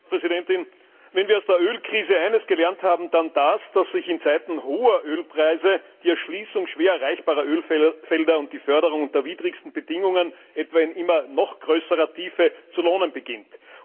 Frau Präsidentin! Wenn wir aus der Ölkrise eines gelernt haben, dann das, dass sich in Zeiten hoher Ölpreise die Erschließung schwer erreichbarer Ölfelder und die Förderung unter widrigsten Bedingungen, etwa in immer noch größerer Tiefe, zu lohnen beginnt.